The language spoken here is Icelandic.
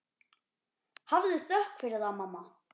Hafðu þökk fyrir það, mamma.